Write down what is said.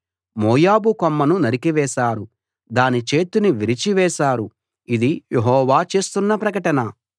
మోయాబు కొమ్మును నరికివేశారు దాని చేతిని విరిచి వేశారు ఇది యెహోవా చేస్తున్న ప్రకటన